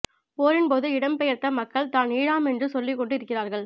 போரின் பொது இடம் பெய்யர்த்த மக்கள் தான் ஈழாம் என்று சொல்லிக்கொண்டு இருகிறார்கள்